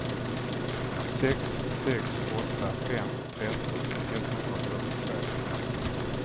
sex sex åtta fem tretton etthundrafyrtiotvå